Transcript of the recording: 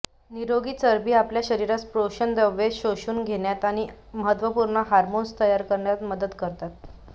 निरोगी चरबी आपल्या शरीरास पोषकद्रव्ये शोषून घेण्यास आणि महत्त्वपूर्ण हार्मोन्स तयार करण्यास मदत करतात